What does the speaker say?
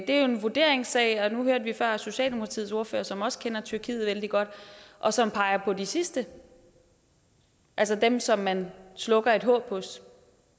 er jo en vurderingssag og nu hørte vi før socialdemokratiets ordfører som også kender tyrkiet vældig godt og som peger på de sidste altså dem som man slukker et håb hos